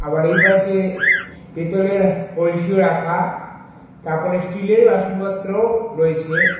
আবার এই পাশে পেতলের কলসিও রাখা তারপরে স্টিলের বাসনপত্রও রয়েছে।